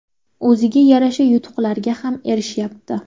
O‘ziga yarasha yutuqlarga ham erishyapti.